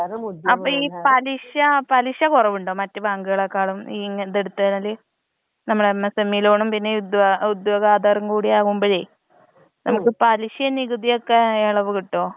അപ്പൊ ഈ പലിശ പലിശ കോറവിണ്ടോ മറ്റു ബാങ്കുകളെക്കാളും ഈ ഇങ ഇത് എടുത്തു കഴിഞ്ഞാൽ? നമ്മളെ എം എസ് എം ഇ ലോണും പിന്നെ ഇതോ ഉദ്യോഗ ആധാറും കൂടി ആവുമ്പോൾ ? നമ്മുക്ക് പല്ലിഷിം നികുതിയൊക്കെ എളവ് കിട്ടോ ?